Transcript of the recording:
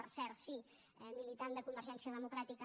per cert sí militant de convergència democràtica